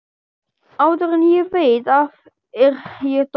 Áður en ég veit af er ég dott